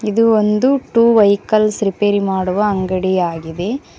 ಇದು ಒಂದು two vehicles ರಿಪೇರಿ ಮಾಡುವ ಅಂಗಡಿಯಾಗಿದೆ.